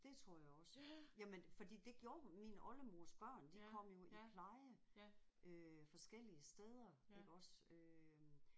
Det tror jeg også. Jamen fordi det gjorde hun min oldemors børn de kom jo i pleje øh forskellige steder iggås øh